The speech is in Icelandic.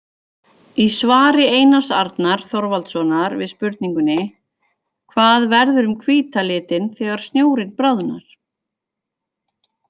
Í svari Einars Arnar Þorvaldssonar við spurningunni: Hvað verður um hvíta litinn þegar snjórinn bráðnar?